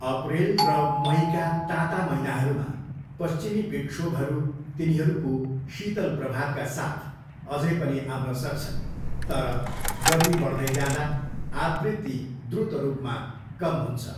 अप्रेल र मईका ताता महिनाहरूमा, पश्चिमी विक्षोभहरू, तिनीहरूको शीतल प्रभावका साथ, अझै पनि आउन सक्छन्, तर गर्मी बढ्दै जाँदा आवृत्ति द्रुत रूपमा कम हुन्छ।